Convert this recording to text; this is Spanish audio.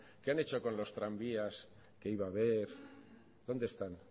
qué han hecho con los tranvías que iba a haber dónde están